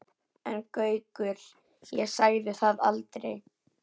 En Gaukur, ég sagði það aldrei